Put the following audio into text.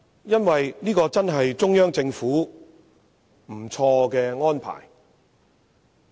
因為這確是中央政府一個很不錯的安排。